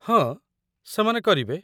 ହଁ, ସେମାନେ କରିବେ